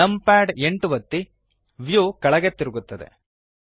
numpad 8 ಒತ್ತಿ view ಕೆಳಗೆ ತಿರುಗುತ್ತದೆ